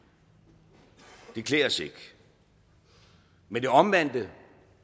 det klæder os ikke men det omvendte